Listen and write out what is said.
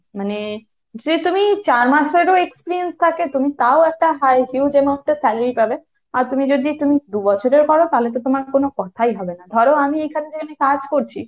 মানে সে তুমি চার মাসের ও যদি experience থাকে তুমি তাও একটা high huge amount এর salary পাবে। আর তুমি যদি তুমি দু'বছরের করো তাহলে তো তোমার কোন কথাই হবে না। ধরো আমি এখানে যেখানে কাজ করছি,